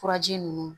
Furaji ninnu